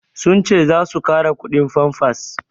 Sun ce za su ƙara kudin famfas